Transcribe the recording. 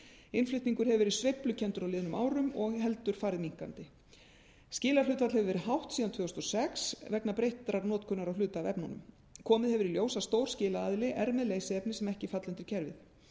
innflutningur hefur verið sveiflukenndur á liðnum árum og heldur farið minnkandi skilahlutfall hefur verið hátt síðan tvö þúsund og sex vegna breyttrar notkunar á hluta af efnunum komið hefur í ljós að stór skilaaðili er með leysiefni sem ekki falla undir kerfið